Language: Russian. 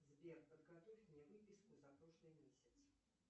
сбер подготовь мне выписку за прошлый месяц